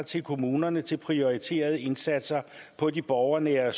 til kommunerne til prioriterede indsatser på de borgernære